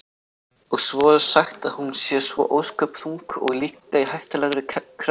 Og svo er sagt að hún sé svo ósköp þung og líka í hættulegri kreppu.